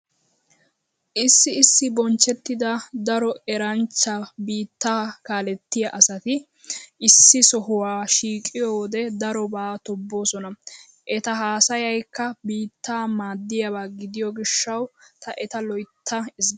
Issi issi bonchchettida daro eranchcha biittaa kaalettiya asati issi sohuwa shiiqiyo wode daroba tobboosona. Eta haasayaykka biittaa maaddiyab gidiyo gishshawu ta eta loytta ezggays.